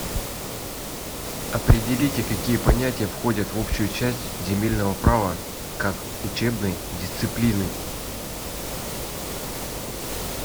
определите какие понятия входят в общую часть земельного права как учебной дисциплины